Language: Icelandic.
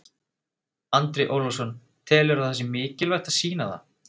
Andri Ólafsson: Telurðu að það sé mikilvægt að sýna það?